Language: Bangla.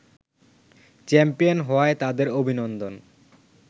চ্যাম্পিয়ন হওয়ায় তাদের অভিনন্দন